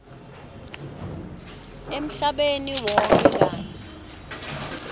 emhlabeni wonkhe kantsi